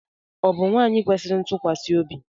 Ọ bụ nwaanyị kwesịrị ntụkwasị obi?